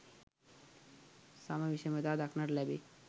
සම විෂමතා දක්නට ලැබේ.